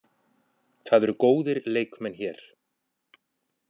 Það eru góðir leikmenn hér.